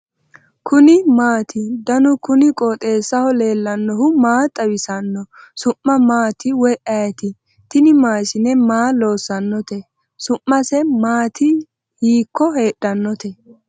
kuni maati ? danu kuni qooxeessaho leellannohu maa xawisanno su'mu maati woy ayeti ? tini maashine maa loossannote su'mise mati hiikko heedhannote ?